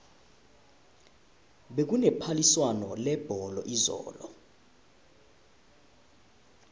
bekune phaliswano lebholo izolo